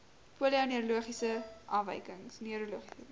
polio neurologiese afwykings